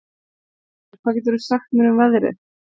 Þorvaldur, hvað geturðu sagt mér um veðrið?